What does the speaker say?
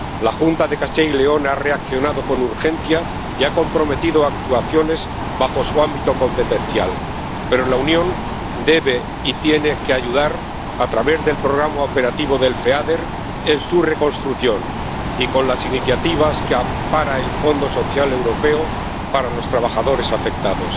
La Junta de Castilla y León ha reaccionado con urgencia y ha comprometido actuaciones bajo su ámbito competencial, pero la Unión debe y tiene que ayudar a través del programa operativo del Feader en su reconstrucción y con las iniciativas que ampara el Fondo Social Europeo para los trabajadores afectados.